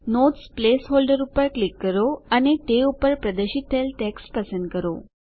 notes placeholder પર click કરો અને તે ઉપટ પ્રદર્શિત થયેલ ટેક્સ્ટ પસંદ કરો